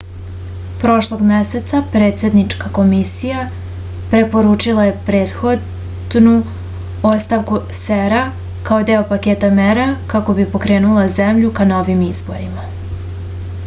prošlog meseca predsednička komisija preporučila je prethodnu ostavku cep-a kao deo paketa mera kako bi pokrenula zemlju ka novim izborima